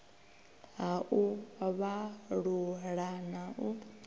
ha u vhalula na u